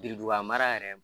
Birintuban mara yɛrɛ